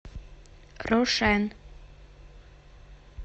рошен